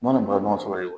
N mana balo ɲɔgɔn sɔrɔ yen